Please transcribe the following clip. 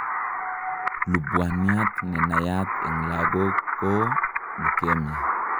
Lubwaniat nenaiyat eng' lagok koo leukemia